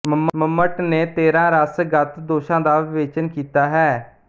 ਮੰਮਟ ਨੇ ਤੇਰਾਂ ਰਸ ਗਤ ਦੋਸ਼ਾਂ ਦਾ ਵਿਵੇਚਨ ਕੀਤਾ ਹੈ